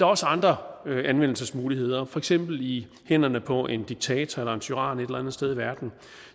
også andre anvendelsesmuligheder for eksempel i hænderne på en diktator eller en tyran et eller andet sted i verden